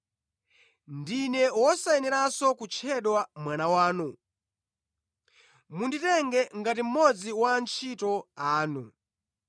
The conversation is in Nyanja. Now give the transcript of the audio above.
Ndine wosayeneranso kutchedwa mwana wanu; munditenge ngati mmodzi wa antchito anu.’